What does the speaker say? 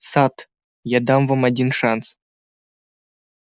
сатт я дам вам один шанс